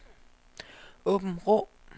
Åbenrå